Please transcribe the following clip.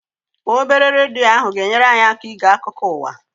Obere redio ahụ ga-enyere anyị aka ige akụkụ ụwa.